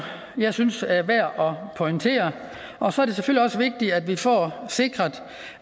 jeg synes er værd at pointere og så er det selvfølgelig også vigtigt at vi får sikret